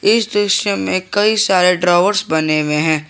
इस दृश्य में कई सारे ड्रॉवर्स बने हुए हैं।